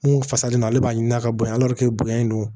Mun fasalen don ale b'a ɲini ka bonya bonya in don